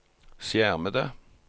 skjermede